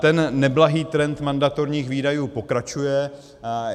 Ten neblahý trend mandatorních výdajů pokračuje.